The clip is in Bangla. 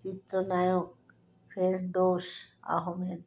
চিত্রনায়ক ফেরদৌস আহমেদ